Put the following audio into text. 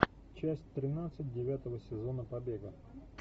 часть тринадцать девятого сезона побега